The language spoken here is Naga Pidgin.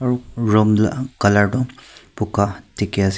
r room du color toh buka dikhiase.